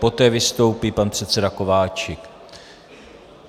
Poté vystoupí pan předseda Kováčik.